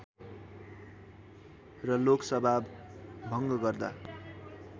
र लोकसभा भङ्ग गर्दा